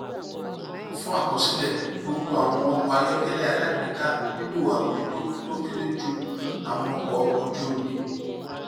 fún àkọsílẹ gbogbo àwọn ọkọ ayọkẹlẹ alágbèéká nílò àbójútó tó kéré ju àwọn ọkọ ojú omi